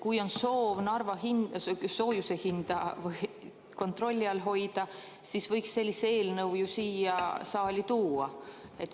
Kui on soov Narvas soojuse hinda kontrolli all hoida, siis võiks sellise eelnõu ju siia saali tuua.